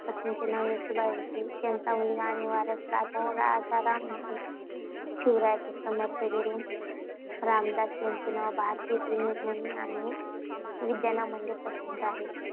पत्नीचे नाव येसूबाई होते. त्यांचा मुलगा आणि वारस राजाराम होता. शिवरायांचे समर्थ गुरु रामदास यांचे नाव भारतातील ऋषीमुनी आणि विद्वानांमध्ये प्रसिद्ध आहे.